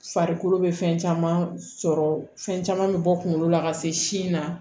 Farikolo bɛ fɛn caman sɔrɔ fɛn caman bɛ bɔ kunkolo la ka se sin na